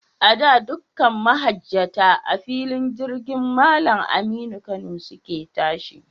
A da, dukkan mahajjata, a filin jirgin Mallam Aminu Kano su ke tashi.